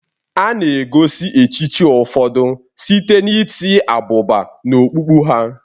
A na-egosi echichi ụfọdụ site n'itinye abụba n'okpukpu ha.